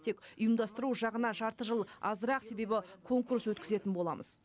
тек ұйымдастыру жағына жарты жыл азырақ себебі конкурс өткізетін боламыз